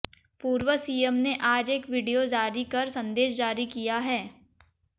पूर्व सीएम ने आज एक वीडियो जारी कर संदेश जारी किया है